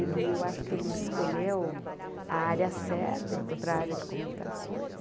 Ele eu acho que ele escolheu a área certa, ele foi para a área de comunicações.